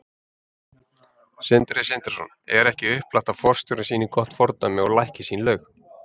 Sindri Sindrason: Er ekki upplagt að forstjórinn sýni gott fordæmi og lækki sín laun?